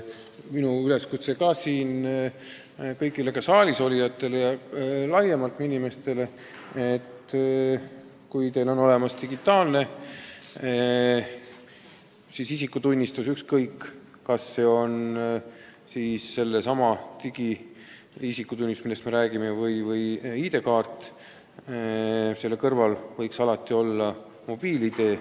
Minu üleskutse kõigile siin saalis olijatele ja ka inimestele laiemalt on, et kui teil on olemas digitaalne isikutunnistus – ükskõik, kas seesama digiisikutunnistus, millest me räägime, või ID-kaart –, siis võiks selle kõrval olla ka mobiil-ID.